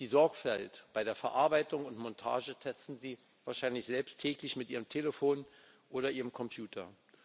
Die Sorgfalt bei der Verarbeitung und Montage testen Sie wahrscheinlich selbst täglich mit Ihrem Telefon oder Ihrem Computer.